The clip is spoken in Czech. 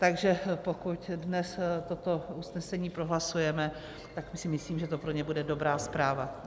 Takže pokud dnes toto usnesení prohlasujeme, tak si myslím, že to pro ně bude dobrá zpráva.